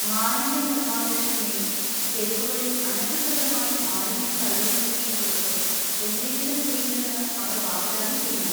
മാലിന്യ നിർമാർജനത്തിനെയും തെരുവുകളിൽ അനധികൃതമായി മാലിന്യം തള്ളുന്നതിനെയും കുറിച്ച് എന്തെങ്കിലും ചെയ്യുമെന്ന് അവർ വാഗ്ദാനം ചെയ്യണം.